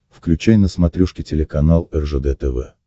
включай на смотрешке телеканал ржд тв